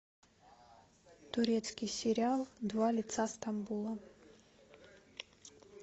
турецкий сериал два лица стамбула